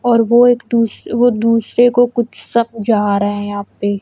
और वो एक दूस वो दुस्से को कुछ समझा रहा है यहाँ पे।